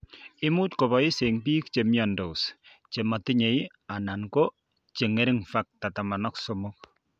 Imuch keboishe eng' bik che miandos che matinye anan ko che ng'ering' Factor XIII.